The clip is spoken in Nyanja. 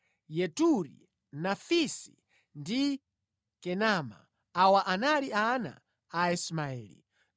Yeturi, Nafisi ndi Kedema. Awa anali ana a Ismaeli.